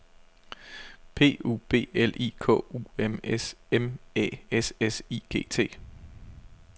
P U B L I K U M S M Æ S S I G T